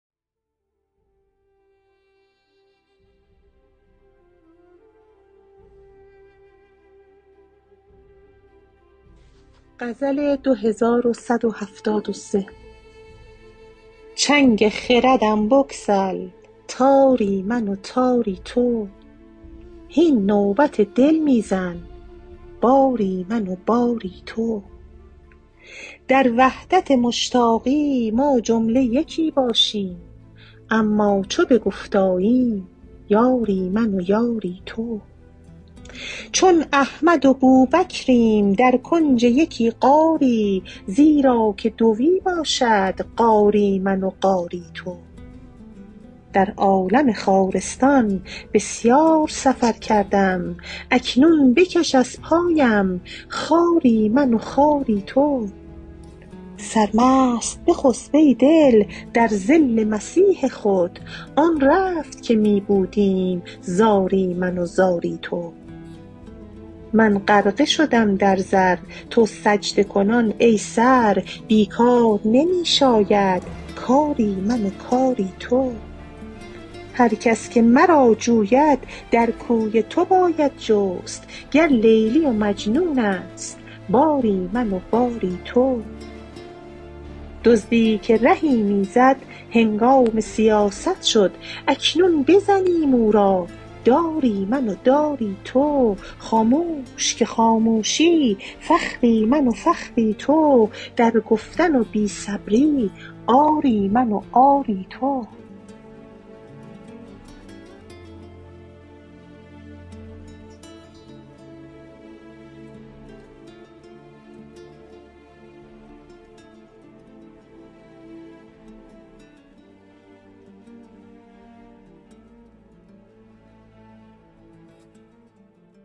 چنگ خردم بگسل تاری من و تاری تو هین نوبت دل می زن باری من و باری تو در وحدت مشتاقی ما جمله یکی باشیم اما چو به گفت آییم یاری من و یاری تو چون احمد و بوبکریم در کنج یکی غاری زیرا که دوی باشد غاری من و غاری تو در عالم خارستان بسیار سفر کردم اکنون بکش از پایم خاری من و خاری تو سرمست بخسپ ای دل در ظل مسیح خود آن رفت که می بودیم زاری من و زاری تو من غرقه شدم در زر تو سجده کنان ای سر بی کار نمی شاید کاری من و کاری تو هر کس که مرا جوید در کوی تو باید جست گر لیلی و مجنون است باری من و باری تو دزدی که رهی می زد هنگام سیاست شد اکنون بزنیم او را داری من و داری تو خاموش که خاموشی فخری من و فخری تو در گفتن و بی صبری عاری من و عاری تو